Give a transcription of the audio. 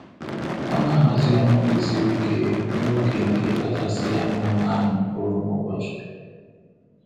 Ọ na-ahazi ọrụ ndị siri ike n'oge nke kachasị ya mma na-amị mkpụrụ n'ubochị.